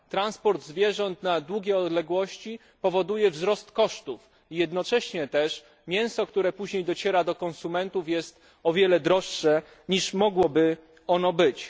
Transport zwierząt na długie odległości powoduje wzrost kosztów i jednocześnie mięso, które później dociera do konsumentów, jest o wiele droższe niż mogłoby ono być.